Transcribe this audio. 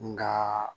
Nka